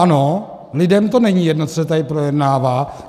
Ano, lidem to není jedno, co se tady projednává.